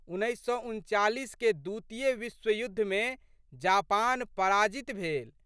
उन्नैस सए उनचालीसके द्वितीय विश्वयुद्धमे जापान पराजित भेल।